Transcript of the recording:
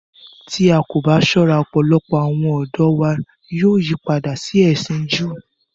Tí a kò bá sọ̀rọ̀, ọpọlọpọ̀ àwọn ọdọ wa yóò yìpàdà sí ẹ̀sin Jùú.